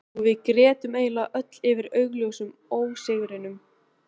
Og við grétum eiginlega öll yfir augljósum ósigrinum.